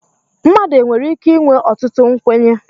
mmadụ e nwere ike inwe ọtụtụ nkwenye